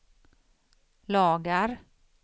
lagar